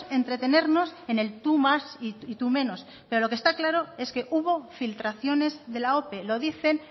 entretenernos en el tú más y tú menos pero lo que está claro es que hubo filtraciones de la ope lo dicen